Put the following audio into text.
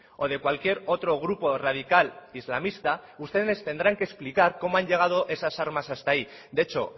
o de cualquier otro grupo radical islamista ustedes tendrán que explicar cómo han llegado esas armas hasta ahí de hecho